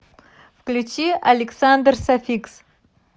включи александр софикс